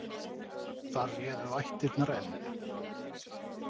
Þar réðu vættirnar enn.